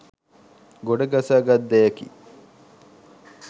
ගොඩ ගසා ගත් දෙයකි